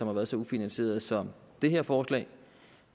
har været så ufinansieret som det her forslag